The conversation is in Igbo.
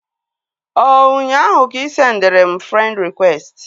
Ọ ụnyaahụ ka ị sendịrị m frend rịkwesti?